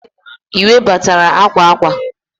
i webatala akwa akwa?